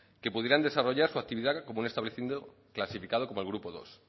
que pudieran desarrollar su actividad como un establecimiento clasificado como el grupo dos